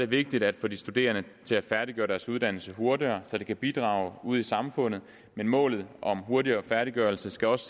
vigtigt at få de studerende til at færdiggøre deres uddannelse hurtigere så de kan bidrage ude i samfundet men målet om hurtigere færdiggørelse skal også